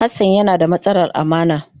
Hassan yana da matsalar amana.